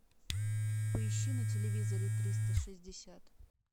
поищи на телевизоре триста шестьдесят